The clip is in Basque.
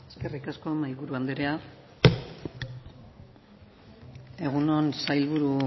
eskerrik asko mahaiburu andrea egun on sailburu